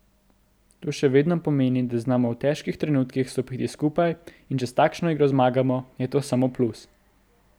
To še vedno pomeni, da znamo v težkih trenutkih stopiti skupaj in če s takšno igro zmagamo, je to samo plus.